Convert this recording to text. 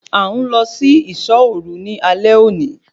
A ń lọ sí isọ́ òru ní alẹ́ òní